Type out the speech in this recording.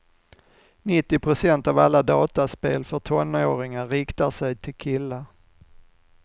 Nittio procent av alla dataspel för tonåringar riktar sig till killar.